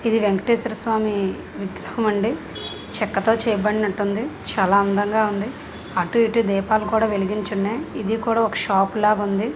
ఇది వెంకటేశ్వర స్వామీ విగ్రహం అండి చెక్కతో చేయబడినట్టు ఉంది చాల అందంగా ఉంది అటు ఇటు దీపాలు కూడ వెలిగించి ఉన్నాయ్ ఇది కూడ ఒక షాప్ లాగుంది.